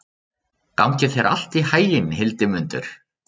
Gangi þér allt í haginn, Hildimundur.